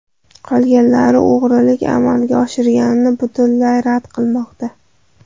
Qolganlari o‘g‘rilik amalga oshirilganini butunlay rad qilmoqda.